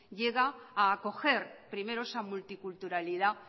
llega a acoger primero esa multiculturalidad